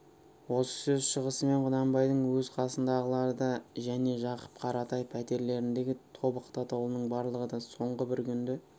осы сөз шығысымен құнанбайдың өз қасындағылар да және жақып қаратай пәтерлеріндегі тобықты атаулының барлығы да соңғы бір күнді